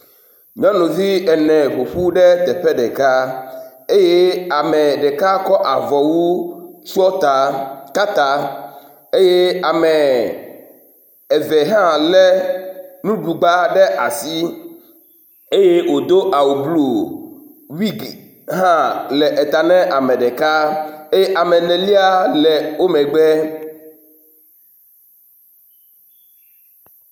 Nyɔnuvi ene ƒoƒu ɖe teƒe ɖeka eye ame ɖeka kɔ avɔwu tsɔ ta ka ta eye ame eve hã lé nuɖugba ɖe asi eye wòdo awu blu, wigi hã le eta na ame ɖeka eye ame enelia le wo megbe.